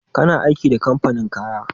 Kana aiki da kamfanin kaya?